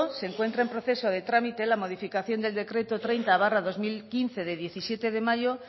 se encuentra en proceso de trámite la modificación del decreto treinta barra dos mil quince de diecisiete de mayo